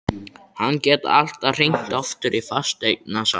Hann gat alltaf hringt aftur í fasteignasalann.